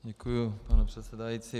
Děkuji, pane předsedající.